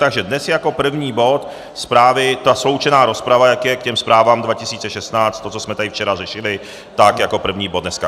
Takže dnes jako první bod zprávy, ta sloučená rozprava, jak je k těm zprávám 2016, to, co jsme tady včera řešili, tak jako první bod dneska.